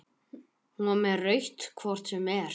Hún var með rautt hvort sem er.